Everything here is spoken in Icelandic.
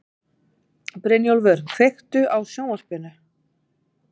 Brynjúlfur, kveiktu á sjónvarpinu.